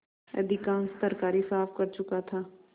अधिकांश तरकारी साफ कर चुका था